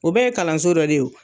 O bɛ ye kalanso dɔ de ye